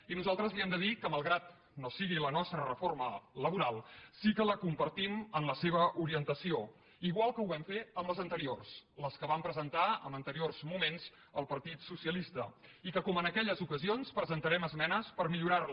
i nosaltres li hem de dir que malgrat que no sigui la nostra reforma laboral sí que la compartim en la seva orientació igual que ho vam fer en les anteriors les que van presentar en anteriors moments el partit socialista i que com en aquelles ocasions presentarem esmenes per millorar les